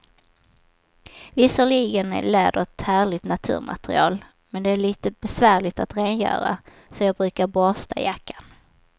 Visserligen är läder ett härligt naturmaterial, men det är lite besvärligt att rengöra, så jag brukar borsta jackan.